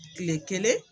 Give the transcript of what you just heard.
Kile kelen